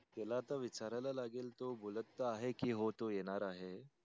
त्याला आता विचारायला लागेल तो बोलत आहे कि हो तो येणार आहे.